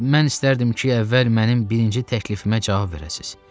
Mən istərdim ki, əvvəl mənim birinci təklifimə cavab verəsiz.